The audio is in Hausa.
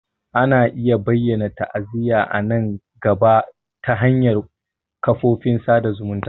Ana iya bayyana ta'aziyya a nan gaba ta hanyar kafofin sada zumunta.